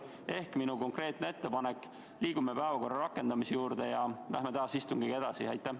Ehk minu konkreetne ettepanek: liigume istungi rakendamisega edasi ja läheme tänase päevakorra juurde!